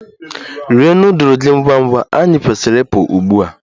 Rie nudulu gị ngwa ngwa! Anyị kwesịrị ịpụ ugbu a.